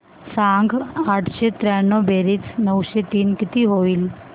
सांग आठशे त्र्याण्णव बेरीज नऊशे तीन किती होईल